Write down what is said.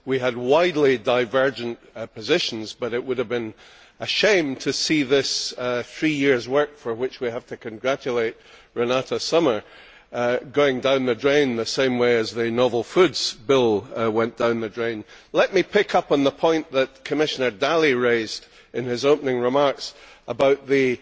We had widely divergent positions but it would have been a shame to see these three years of work, for which we have to congratulate Renate Sommer, going down the drain the same way as the novel foods bill went down the drain. Let me pick up on the point that Commissioner Dalli raised in his opening remarks about the